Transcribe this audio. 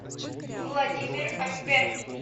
владимир альбертович